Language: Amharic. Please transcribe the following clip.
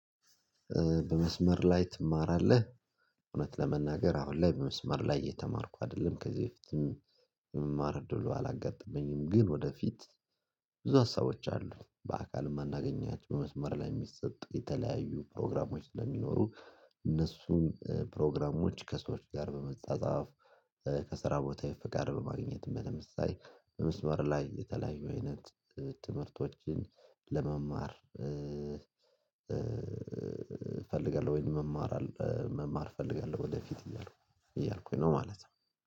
በመስመር ላይ ትማራለህ እውነት ለመናገር አሁን ላይ በመስመር ላይ እየተማርኩ አይደለም ከዚህ በፊትም መማር እደሉ አላጋጠመኝም። ግን ወደፊት ብዙ ሀሳቦች አሉ በአካል የማናገኛቸው በመስመር ላይ የሚሰጥ የተለያዩ ፕሮግራሞች ስለሚኖሩ። እነሱን ፕሮግራሞች ከሰዎች ጋር በመጻጻፍ ከሰራ ቦታ የፍ ጋር በማግኘት በመምሰል በመስመር ላይ የተለያዩ አይነት ትምህርቶችን ለመማር እፈልጋለሁኝ። መማር መማር እፈልጋለሁ ወደፊት እያልኩኝ ነው ማለት ነው